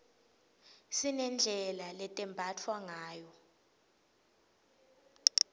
sinedlela letembatfwa ngayo